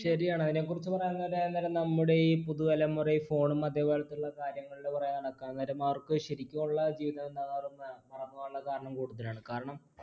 ശരിയാണ് അതിനെക്കുറിച്ച് പറയാൻ നേരം നമ്മുടെ ഈ പുതുതലമുറ phone ഉം അതേപോലെതുള്ള കാര്യങ്ങളുടെ പുറകെ നടക്കാൻ നേരം അവർക്ക് ശരിക്കുമുള്ള ജീവിതം എന്താണെന്ന് അവർ മറന്നു പോകാനുള്ള കാരണം കൂടുതലാണ്, കാരണം